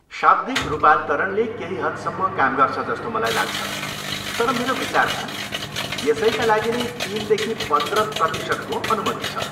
शाब्दिक रूपान्तरणले केही हदसम्म काम गर्छ जस्तो मलाई लाग्छ, तर मेरो विचारमा यसैका लागि नै तिनदेखि पन्द्र प्रतिशतको अनुमति छ।